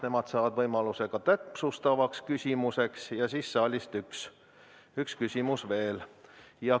Nemad saavad võimaluse ka täpsustavaks küsimuseks ja saalist võib tulla üks küsimus veel.